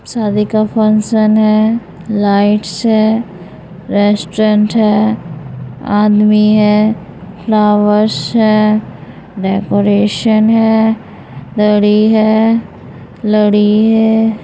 शादी का फंक्शन है। लाइट्स है। रेस्टोरेंट है। आदमी है। फ्लावर्स है। डेकोरेशन है। लड़ी है। लड़ी है।